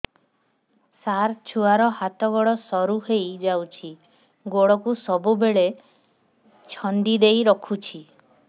ସାର ଛୁଆର ହାତ ଗୋଡ ସରୁ ହେଇ ଯାଉଛି ଗୋଡ କୁ ସବୁବେଳେ ଛନ୍ଦିଦେଇ ରଖୁଛି